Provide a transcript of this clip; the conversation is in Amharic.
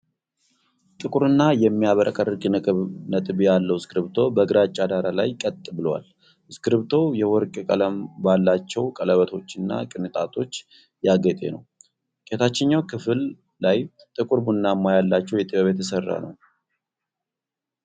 ጥቁርና የሚያብረቀርቅ ነጥብ ያለው እስክሪብቶ በግራጫ ዳራ ላይ ቀጥ ብሎዏል። እስክሪብቶው የወርቅ ቀለም ባላቸው ቀለበቶችና ቅንጣቶች ያጌጠ ነው። ከታችኛው ክፍል ላይ ጥቁር ቡናማ ያላቸው የጥበብ የተስራ ነው።